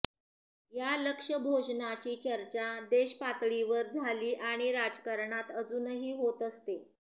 या लक्षभोजनाची चर्चा देशपातळीवर झाली आणि राजकारणात अजुनही होत असते